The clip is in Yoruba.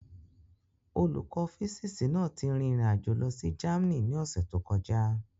Olùkọ́ físíìsì náà ti rin ìrìn àjò lọ sí Germany ní ọ̀sẹ̀ tó kọjá.